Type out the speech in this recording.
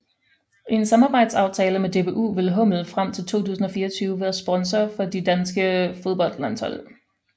I en samarbejdsaftale med DBU vil hummel frem til 2024 være sponsor for de danske fodboldlandshold